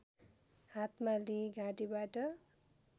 हातमा लिई घाँटीबाट